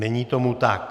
Není tomu tak.